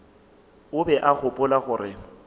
o be a gopola gore